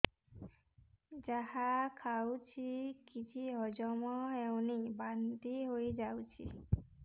ଯାହା ଖାଉଛି କିଛି ହଜମ ହେଉନି ବାନ୍ତି ହୋଇଯାଉଛି